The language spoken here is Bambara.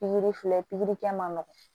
Pikiri filɛ pikirikɛ man nɔgɔ